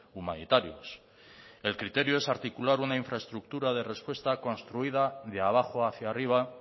humanitarios el criterio es articular una infraestructura de respuesta construida de abajo hacia arriba